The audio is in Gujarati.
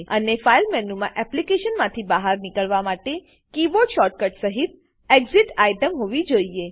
અને ફાઈલ મેનુમાં એપ્લીકેશનમાંથી બહાર નીકળવા માટે કીબોર્ડ શોર્ટકટ સહીત એક્સિટ એક્ઝીટ આઇટમ હોવી જોઈએ